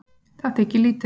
Það þykir lítið